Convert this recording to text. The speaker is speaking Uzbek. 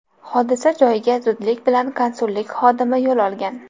Hodisa joyiga zudlik bilan konsullik xodimi yo‘l olgan.